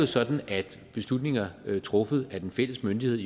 sådan at beslutninger truffet af den fælles myndighed